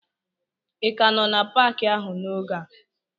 Ị ka nọ n'Paakị ahụ n'oge a?